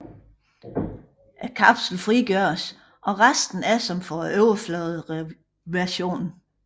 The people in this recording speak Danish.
Kapslen frigøres og resten er som for overfladeversionen